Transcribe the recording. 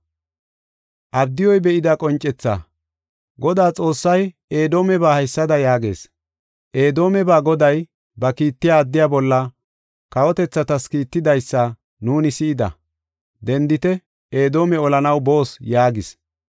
Abdiyuy be7ida qoncethaa. Godaa Xoossay Edoomeba haysada yaagees: Edoomeba Goday, ba kiittiya addiya bolla kawotethatas kiittidaysa nuuni si7ida; “Dendite! Edoome olanaw boos” yaagis.